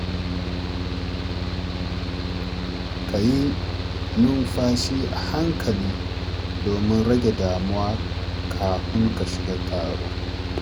Ka yi numfashi a hankali domin rage damuwa kafin ka shiga taro.